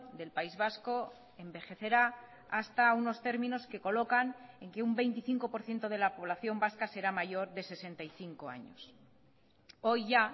del país vasco envejecerá hasta unos términos que colocan en que un veinticinco por ciento de la población vasca será mayor de sesenta y cinco años hoy ya